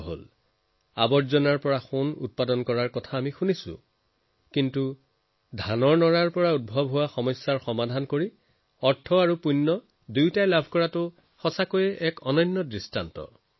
আমি বোকাৰ পৰা সোণ বুটলাৰ কথা বহুত শুনিছো কিন্তু নৰাৰ ব্যৱস্থা কৰি ধন আৰু পূণ্য অৰ্জন কৰা ই ব্যতিক্ৰমী উদাহৰণ